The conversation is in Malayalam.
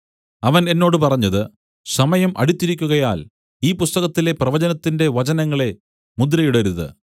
അവൻ എന്നോട് പറഞ്ഞത് സമയം അടുത്തിരിക്കുകയാൽ ഈ പുസ്തകത്തിലെ പ്രവചനത്തിന്റെ വചനങ്ങളെ മുദ്രയിടരുതു